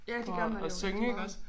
Ja det gør man jo du har ret